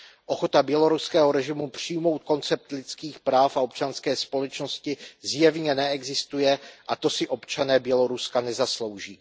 Ochota běloruského režimu přijmout koncept lidských práv a občanské společnosti zjevně neexistuje, a to si občané Běloruska nezaslouží.